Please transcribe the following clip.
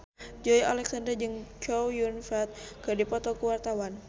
Joey Alexander jeung Chow Yun Fat keur dipoto ku wartawan